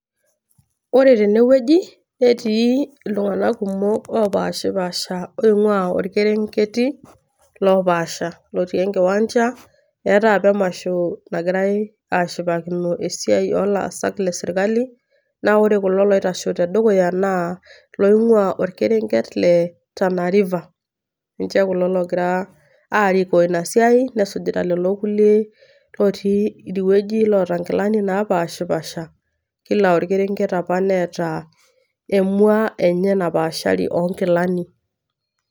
Ore tene wueji netii iltung'ana kumok, opaashapasha oing'ua olkereti loopasha otii enkiwanja. Eatai apa emasho nagirai ashipakino esiai o laasak le serkali. Naa ore kulo oitashe te dukuya naa iloingua olkereti le Tana river. Ninche kulo logira aariko Ina siai nesujita lelo kulie idie wueji naata inkilani napaashipaasha. Khila olkeret opa nneata emwa enye napaashari enye o inkilani.